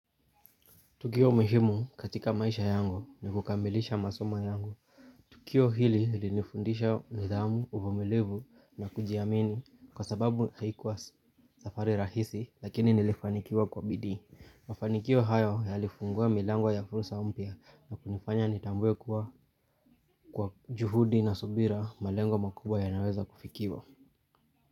Tukio muhimu katika maisha yangu, ni kukamilisha masomo yangu. Tukio hili lilinifundisha nidhamu uvumilivu na kujiamini kwa sababu haikuwa safari rahisi lakini nilifanikiwa kwa bidii. Mafanikio hayo yalifungua milango ya fursa mpya, na kunifanya nitambue kuwa kwa juhudi na subira malengo makubwa yanaweza kufikiwa.